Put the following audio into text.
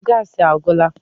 Gaasi agwụla